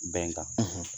Bɛnkan